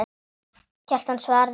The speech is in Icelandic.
Kjartan svaraði henni ekki.